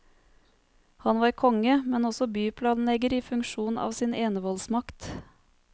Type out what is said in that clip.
Han var konge, men også byplanlegger i funksjon av sin enevoldsmakt.